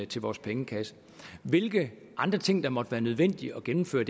til vores pengekasse hvilke andre ting der måtte være nødvendige at gennemføre